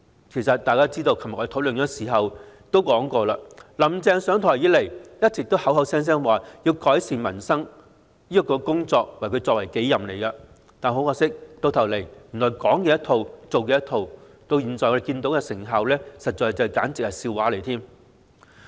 其實眾所周知，昨天辯論時也提到"林鄭"上台以來一直聲稱以改善民生為己任，但可惜最終是"講一套、做一套"，而我們現在看到的成效簡直是笑話！